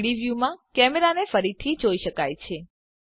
3ડી વ્યુંમાં કેમેરાને ફરીથી જોઈ શકાય છે